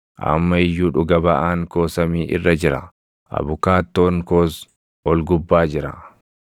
Amma iyyuu dhuga baʼaan koo samii irra jira; abukaattoon koos ol gubbaa jira.